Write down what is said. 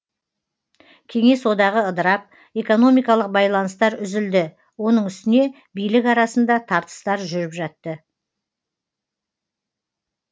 кеңес одағы ыдырап экономикалық байланыстар үзілді оның үстіне билік арасында тартыстар жүріп жатты